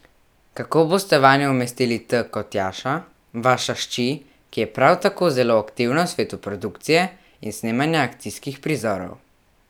Kako boste vanjo umestili T kot Tjaša, vaša hči, ki je prav tako zelo aktivna v svetu produkcije in snemanja akcijskih prizorov?